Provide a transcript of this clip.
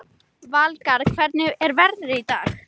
Valgarð, hvernig er veðrið í dag?